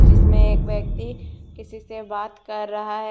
जिसमे एक व्यक्ति किसी से बात कर रहा है ।